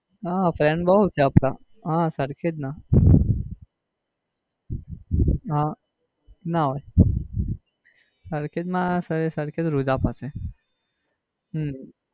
હા friend છે આપણા હા સરખેજ ના. હા ના હોય સરખેજ માં સરખેજ રોઝા પાસે હમ